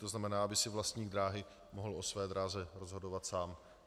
To znamená, aby si vlastník dráhy mohl o své dráze rozhodovat sám.